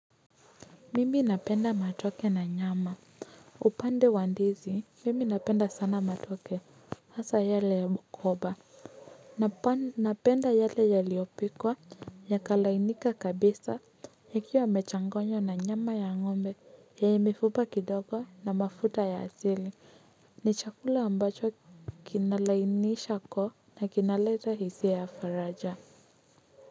Mimi napenda matoke na nyama upande wa ndizi mimi napenda sana matoke hasaa yale ya mkoba napenda yale yaliyopikwa yakalainika kabisa yakiwa yamechanganywa na nyama ya ngombe yenye mifupa kidogo na mafuta ya asili ni chakula ambacho kinalainisha koo na kinaleta hisia ya faraja.